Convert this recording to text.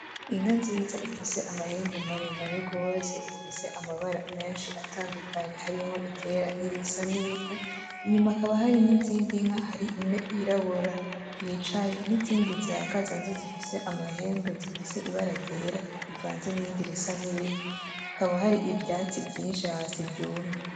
Inka nziza ifise amahembe maremare gose, ifise amabara menshi atandukanye harimwo iryera N’Irisa n’ivu. Inyuma hakaba hari n’izindi nka hari imwe yirabura yicaye n’izindi zihagaze nazo zifise amahembe ,zifise ibara ryera rivanze n’irindi risa n’ivu , hakaba hari ivyatsi vyinshi bisa ni vyatsi vyumye.